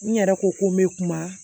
N yɛrɛ ko ko n bɛ kuma